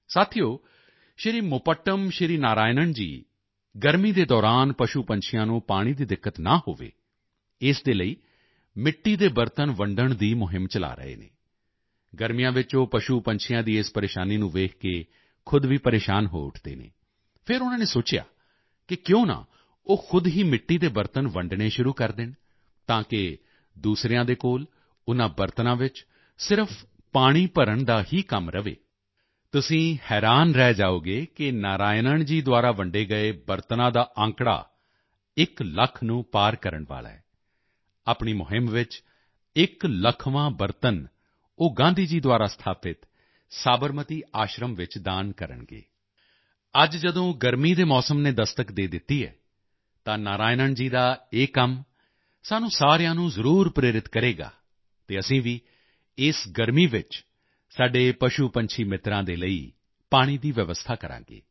ਸਾਥੀਓ ਮੁਪੱਟਮ ਸ਼੍ਰੀ ਨਾਰਾਇਨਣ ਜੀ ਗਰਮੀ ਦੇ ਦੌਰਾਨ ਪਸ਼ੂਪੰਛੀਆਂ ਨੂੰ ਪਾਣੀ ਦੀ ਦਿੱਕਤ ਨਾ ਹੋਵੇ ਇਸ ਦੇ ਲਈ ਮਿੱਟੀ ਦੇ ਬਰਤਨ ਵੰਡਣ ਦੀ ਮੁਹਿੰਮ ਚਲਾ ਰਹੇ ਹਨ ਗਰਮੀਆਂ ਵਿੱਚ ਉਹ ਪਸ਼ੂਪੰਛੀਆਂ ਦੀ ਇਸ ਪਰੇਸ਼ਾਨੀ ਨੂੰ ਦੇਖ ਕੇ ਖ਼ੁਦ ਵੀ ਪਰੇਸ਼ਾਨ ਹੋ ਉੱਠਦੇ ਹਨ ਫਿਰ ਉਨ੍ਹਾਂ ਨੇ ਸੋਚਿਆ ਕਿ ਕਿਉਂ ਨਾ ਉਹ ਖ਼ੁਦ ਹੀ ਮਿੱਟੀ ਦੇ ਬਰਤਨ ਵੰਡਣੇ ਸ਼ੁਰੂ ਕਰ ਦੇਣ ਤਾਕਿ ਦੂਸਰਿਆਂ ਦੇ ਕੋਲ ਉਨ੍ਹਾਂ ਬਰਤਨਾਂ ਵਿੱਚ ਸਿਰਫ਼ ਪਾਣੀ ਭਰਨ ਦਾ ਹੀ ਕੰਮ ਰਹੇ ਤੁਸੀਂ ਹੈਰਾਨ ਰਹਿ ਜਾਓਗੇ ਕਿ ਨਾਰਾਇਨਣ ਜੀ ਦੁਆਰਾ ਵੰਡੇ ਗਏ ਬਰਤਨਾਂ ਦਾ ਅੰਕੜਾ ਇੱਕ ਲੱਖ ਨੂੰ ਪਾਰ ਕਰਨ ਵਾਲਾ ਹੈ ਆਪਣੀ ਮੁਹਿੰਮ ਵਿੱਚ ਇੱਕ ਲੱਖਵਾਂ ਬਰਤਨ ਉਹ ਗਾਂਧੀ ਜੀ ਦੁਆਰਾ ਸਥਾਪਿਤ ਸਾਬਰਮਤੀ ਆਸ਼ਰਮ ਵਿੱਚ ਦਾਨ ਕਰਨਗੇ ਅੱਜ ਜਦੋਂ ਗਰਮੀ ਦੇ ਮੌਸਮ ਨੇ ਦਸਤਕ ਦੇ ਦਿੱਤੀ ਹੈ ਤਾਂ ਨਾਰਾਇਨਣ ਜੀ ਦਾ ਇਹ ਕੰਮ ਸਾਨੂੰ ਸਾਰਿਆਂ ਨੂੰ ਜ਼ਰੂਰ ਪ੍ਰੇਰਿਤ ਕਰੇਗਾ ਅਤੇ ਅਸੀਂ ਵੀ ਇਸ ਗਰਮੀ ਵਿੱਚ ਸਾਡੇ ਪਸ਼ੂਪੰਛੀ ਮਿੱਤਰਾਂ ਦੇ ਲਈ ਪਾਣੀ ਦੀ ਵਿਵਸਥਾ ਕਰਾਂਗੇ